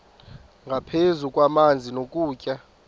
nangaphezu kwamanzi nokutya